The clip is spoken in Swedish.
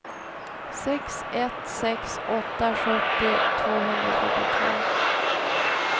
sex ett sex åtta sjuttio tvåhundrafyrtiotvå